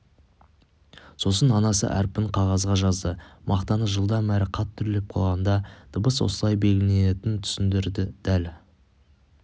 сосын анасы әрпін қағазға жазды мақтаны жылдам әрі қатты үрлеп қалғанда дыбыс осылай белгіленетінін түсіндірді дәл